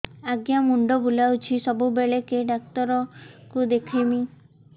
ଆଜ୍ଞା ମୁଣ୍ଡ ବୁଲାଉଛି ସବୁବେଳେ କେ ଡାକ୍ତର କୁ ଦେଖାମି